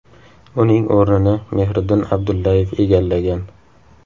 Uning o‘rnini Mehriddin Abdullayev egallagan.